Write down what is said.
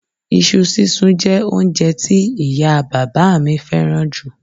Iṣu sísun jẹ́ oúnjẹ tí ìyá a bàbá à mi fẹ́ràn jù